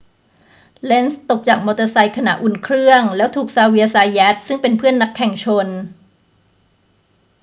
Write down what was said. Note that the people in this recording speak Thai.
เลนซ์ตกจากมอเตอร์ไซค์ขณะอุ่นเครื่อง แล้วถูกซาเวียร์ ซาแยต ซึ่งเป็นเพื่อนนักแข่งชน